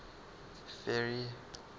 ferry